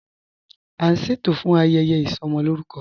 A n ṣẹtò fún ayẹyẹ isọmọlórùkọ.